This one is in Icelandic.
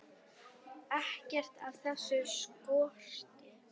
Ekkert af þessu skorti.